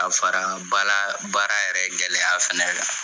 Ka fara bala baara yɛrɛ gɛlɛya fɛnɛ kan.